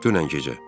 Dünən gecə.